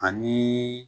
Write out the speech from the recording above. Ani